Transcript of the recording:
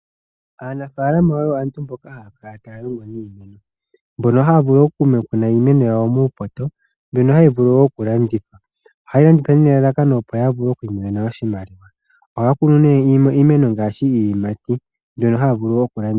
Aanafaalama oyo aantu mboka haya kala taya longo niimeno . Mbono haya vulu oku kuna iimeno yawo muupoto mbono haya vulu woo okulanditha. Ohaya landitha nelalakano opo yavule oku imonena oshimaliwa. Ohaya kunu nee iimeno ngaashi iiyimati mbyono haya vulu okulanditha.